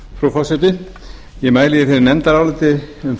forseti ég mæli hér fyrir nefndaráliti um frumvarp